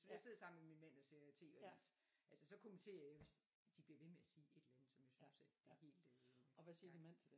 Hvis jeg sidder sammen med min mand og ser TV-avis altså så kommenterer jeg hvis de bliver ved med at sige et eller andet som jeg synes at det er helt øh gak